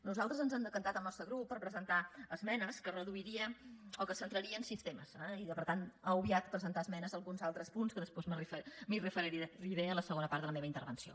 nosaltres ens hem decantat el nostre grup per presentar esmenes que ho reduirien o que es centrarien en cinc temes i per tant ha obviat presentar esmenes a alguns altres punts que després m’hi referiré en la segona part de la meva intervenció